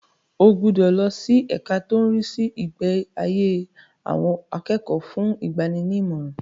O gbúdọ̀ lọ sí ẹka tó ń rí sí ìgbáyé àwọn akẹ́kọ̀ọ́ fún ìgbaninímọ̀ràn.